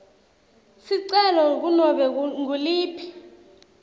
sicelo kunobe nguliphi